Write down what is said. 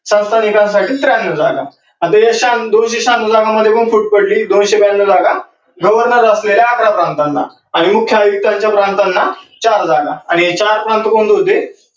संस्थानिकांसाठी त्र्यान्नौ जागा. आता या दोनशे शहान्नौ जागांमध्ये पण फुट पडली दोनशे त्र्यान्नौ जागा governor असलेल्या अकरा प्रांतांना आणि मुख्य आयुक्तांच्या प्रांतांना चार जागा आणि हे चार कोणते कोणते होते?